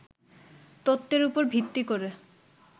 তত্ত্বের উপর ভিত্তি করে